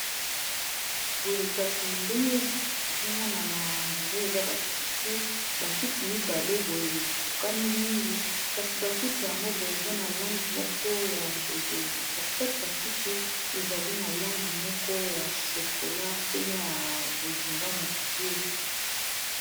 boye kasi ndenge ezomona na ondire eza akitibakiti mibale boyekokani mingi kasi bakiti yango boye eza na langi moko ya boye boye na katikati ya kiti ezali na langi moko ya shokola pene ya bozinga moke